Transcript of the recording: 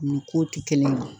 Nin ko tɛ kelen ye